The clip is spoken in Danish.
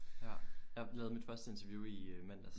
Ja. Jeg lavede mit første interview i øh mandags